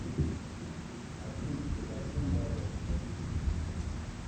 афина ты большой молодец спасибо тебе